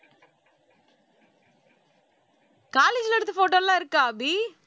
college ல எடுத்த photo லாம் இருக்கா அபி